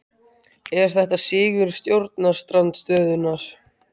Er þetta sigur stjórnarandstöðunnar?